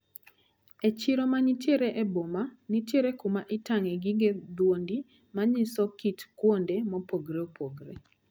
E chiro manitiere e boma, nitiere kuma itang`e gige dhoudi manyiso kit kuonde mopogre opogre.